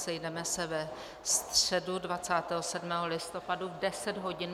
Sejdeme se ve středu 27. listopadu v 10 hodin.